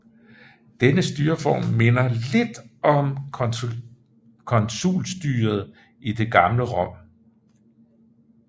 Denne styreform minder lidt om konsulstyret i det gamle Rom